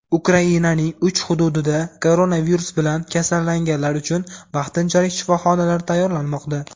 Ukrainaning uch hududida koronavirus bilan kasallanganlar uchun vaqtinchalik shifoxonalar tayyorlanmoqda.